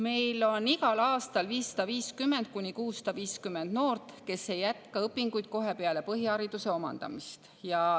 Meil on igal aastal 550–650 noort, kes ei jätka õpinguid kohe peale põhihariduse omandamist.